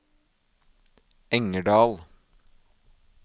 Engerdal